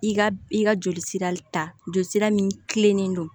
I ka i ka joli sira ta jolisira min don